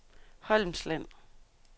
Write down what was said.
Holmsland